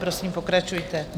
Prosím, pokračujte.